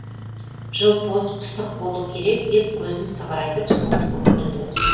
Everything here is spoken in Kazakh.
жылпос пысық болу керек деп көзін сығырайтып сылқ сылқ күлді